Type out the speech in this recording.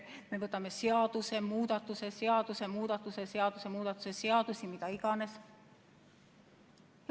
Me võtame vastu seadusemuudatuse seadusemuudatuse seadusemuudatuse seadusi, mida iganes.